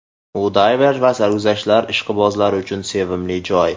U dayver va sarguzashtlar ishqibozlari uchun sevimli joy.